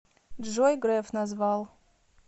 джой греф назвал